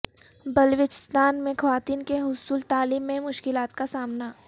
بلوچستان میں خواتین کو حصول تعلیم میں مشکلات کا سامنا